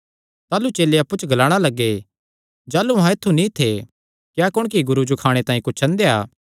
ताह़लू चेले अप्पु च ग्लाणा लग्गे जाह़लू अहां ऐत्थु नीं थे क्या कुणकी गुरू जो खाणे तांई कुच्छ अंदेया